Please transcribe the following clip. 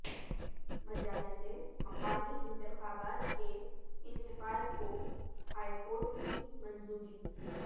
مجالس مقامی انتخابات کے انعقاد کو ہائیکورٹ کی منظوری